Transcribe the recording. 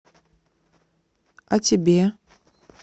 а тебе